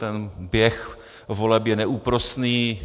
Ten běh voleb je neúprosný.